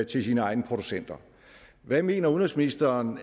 til sine egne producenter hvad mener udenrigsministeren